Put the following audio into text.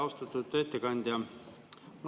Austatud ettekandja!